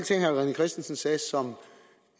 christensen sagde som